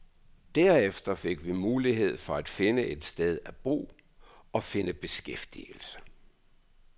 Derefter fik vi mulighed for at finde et sted at bo og at finde beskæftigelse.